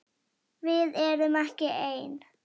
Við erum ekki ein!